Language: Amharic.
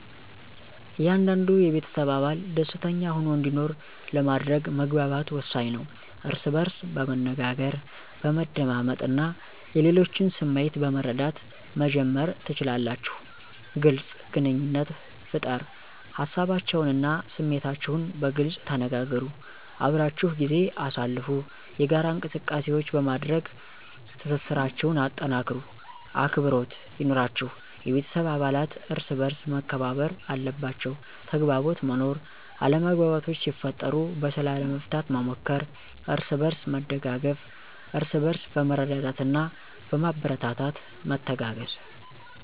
እያንዳንዱ የቤተሰብ አባል ደሰተኛ ሆኖ እንዲኖር ለማድረግ መግባባት ወሳኝ ነው። እርስ በእርስ በመነጋገር፣ በመደማመጥ እና የሌሎችን ስሜት በመረዳት መጀመር ትችላላችሁ። __ግልፅ ግንኙነት ፍጠር ሀሳባቸውን እና ስሜታችሁን በግልፅ ተነጋገሩ። _አብራችሁ ጊዜ አሳልፉ የጋራ እንቅሰቃሴዎች በማድረግ ትስስራቸሁን አጠናክሩ። _አክብሮት ይኑራችሁ የቤተሰብ አባለት እርሰበአርስ መከባበር አለባቸዉ። _ተግባቦት መኖር አለመግባባቶች ሲፈጠሩ በሰላም ለመፍታት መሞከር። አርስበእርስ መደጋገፍ እርስበእርስ በመረዳዳትና በማበረታታት መተጋገዝ።